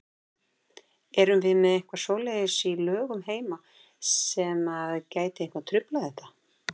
Erum við með eitthvað svoleiðis í lögum heima sem að gæti eitthvað truflað þetta?